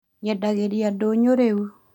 Nyendagĩria ndũnyũ rĩu